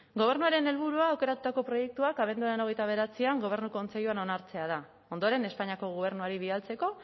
gobernuaren helburua aukeratutako proiektuak abenduaren hogeita bederatzian gobernu kontseiluan onartzea da ondoren espainiako gobernuari bidaltzeko